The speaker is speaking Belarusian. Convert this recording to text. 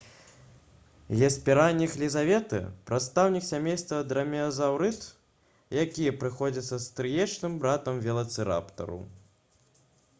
геспераніх лізаветы прадстаўнік сямейства драмеазаўрыд які прыходзіцца стрыечным братам велацыраптару